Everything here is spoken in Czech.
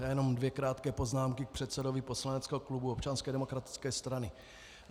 Já jenom dvě krátké poznámky k předsedovi poslaneckého klubu Občanské demokratické strany.